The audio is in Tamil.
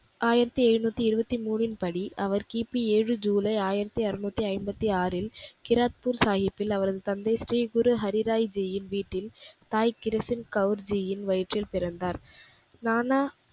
ஆய்ரத்தி ஏழ்நூத்தி இருபத்தி மூனின் படி அவர் கிபி ஏழு ஜூலை ஆயிரத்தி அருநூத்தி ஐம்பத்தி ஆறில் கீராத்ப்பூர் சாகிப்பில் அவரது தந்தை ஸ்ரீ குரு ஹரிராய் ஜியின் வீட்டில் தாய்கிரிசில் கவுர்ஜியின் வயிற்றில் பிறந்தார். நானா